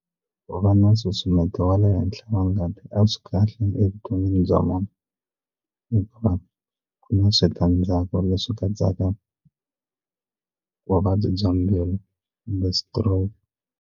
Ku va na nsusumeto wa le henhla wa ngati a swi kahle evuton'wini bya munhu hikuva ku na switandzhaku leswi katsaka vuvabyi bya mbilu kumbe stroke.